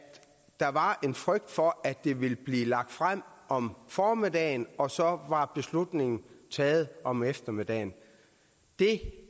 der var en frygt for at det ville blive lagt frem om formiddagen og så var beslutningen taget om eftermiddagen det